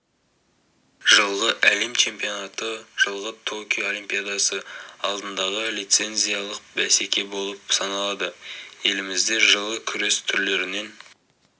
жылғы әлем чемпионаты жылғы токио олимпиадасы алдындағы лицензиялық бәсеке болып саналады елімізде жылы күрес түрлерінен